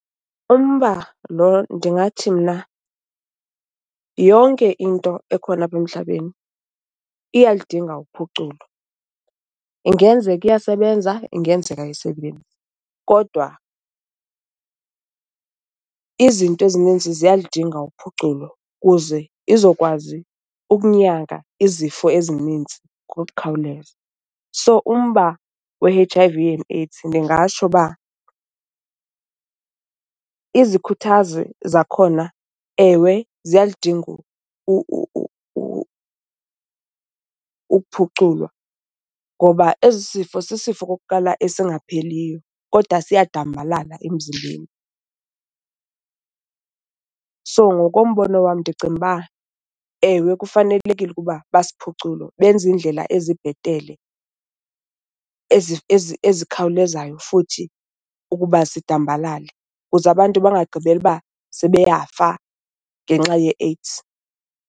Umba lo ndingathi mna yonke into ekhona apha emhlabeni iyaludinga uphuculo. Ingenzeka iyasebenza, ingenzeka ayisebenzi kodwa izinto ezininzi ziyaludinga uphuculo kuze izokwazi ukunyanga izifo ezinintsi ngokukhawuleza. So umba we-H_I_V and AIDS, ndingatsho uba izikhuthazi zakhona ewe ziyaludinga ukuphuculwa ngoba esi sifo sisifo okokuqala esingapheliyo kodwa siyadambalala emzimbeni. So ngokombono wam ndicinga uba, ewe kufanelekile ukuba basiphucule benze indlela ezibhetele, ezikhawulezayo futhi ukuba zidambalale kuze abantu bangagqibeli uba sebeyafa ngenxa yeAIDS.